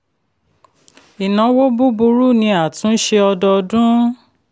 ìnáwó búburú ni àtúnṣe ọdọọdún.